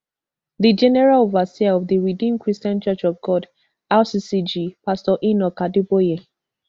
di general overseer of di redeemed christian church of god rccg pastor enoch adeboye